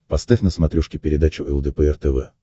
поставь на смотрешке передачу лдпр тв